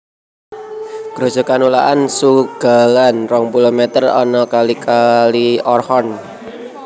Grojogan Ulaan Tsutgalan rong puluh mèter anak kali Kali Orkhon